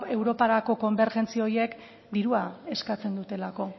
europarako konbergentzia horiek dirua eskatzen dutelako